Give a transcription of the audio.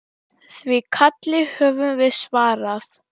Því kalli höfum við svarað.